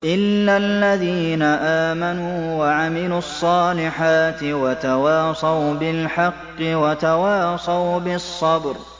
إِلَّا الَّذِينَ آمَنُوا وَعَمِلُوا الصَّالِحَاتِ وَتَوَاصَوْا بِالْحَقِّ وَتَوَاصَوْا بِالصَّبْرِ